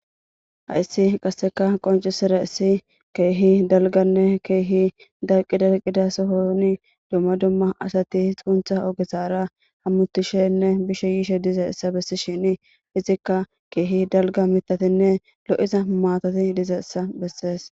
Haissi qasseka qonci sira issi keehi dalganne keehi dalqi daqida sohoni dumma dumma asati xuntha ogesaara hammutishenne bishe yiishe dizessa bessi shini izikka keehi dalga mitatinne lo7iza maatati dizessa bessees.